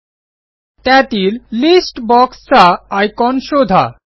एलटीपॉजेग्ट त्यातील लिस्ट boxचा आयकॉन शोधा